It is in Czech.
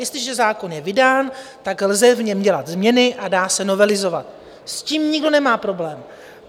Jestliže zákon je vydán, tak v něm lze dělat změny a dá se novelizovat, s tím nikdo nemá problém.